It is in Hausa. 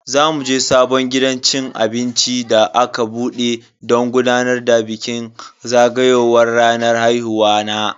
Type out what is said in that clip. Za muje sabon gidan cin abinci da aka bude don gudanar da bikin zagayowar ranar haihuwa na.